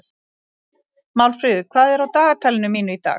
Málfríður, hvað er á dagatalinu mínu í dag?